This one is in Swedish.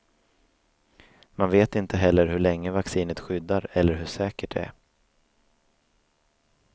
Man vet inte heller hur länge vaccinet skyddar eller hur säkert det är.